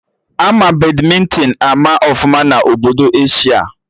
Ama Badmịntịn ama ọfụma na Obodo Asia